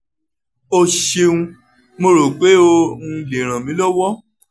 o ṣeun mo ro pe o um le ran mi lọwọ